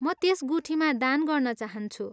म त्यस गुठीमा दान गर्न चाहन्छु।